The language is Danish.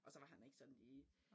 Og så var han ikke sådan lige